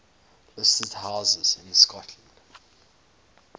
listed houses in scotland